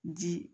Ji